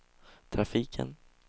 trafiken